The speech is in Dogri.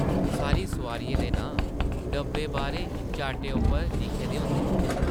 सारी सोआरियें दे नांऽ डब्बे बाह्रें चार्टै उप्पर लिखे दे होंदे न ।